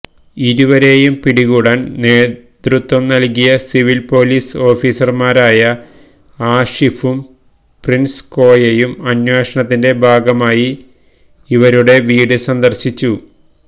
ഇരുവരേയും പിടികൂടാന് നേതൃത്വംനല്കിയ civil police ഓഫീസര്മാരായ ആഷിഫും പ്രിന്സ് കോയയും അന്വേഷണത്തിന്റെ ഭാഗമായി ഇവരുടെ വീട് സന്ദര്ശിച്ചു